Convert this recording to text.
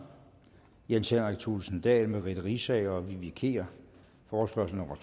jens henrik thulesen dahl merete riisager og vivi kier forespørgsel nummer